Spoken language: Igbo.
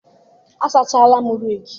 asachara m rake